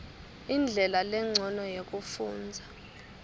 indlela lencono yekufundza